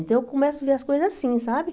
Então eu começo a ver as coisas assim, sabe?